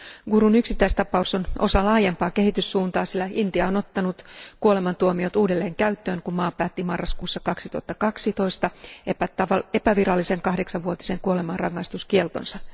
Gurun yksittäistapaus on osa laajempaa kehityssuuntaa, sillä Intia on ottanut kuolemantuomiot uudelleen käyttöön, kun maa päätti marraskuussa 2012 epävirallisen kahdeksanvuotisen kuolemanrangaistuskieltonsa.